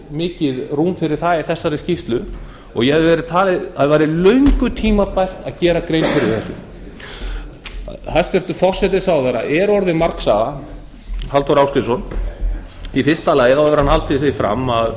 mikið rúm fyrir það í þessari skýrslu og ég hefði talið að það væri löngu tímabært að gera grein fyrir þessu hæstvirtur forsætisráðherra halldór ásgrímsson er orðinn margsaga í fyrsta lagi hefur hann haldið því fram að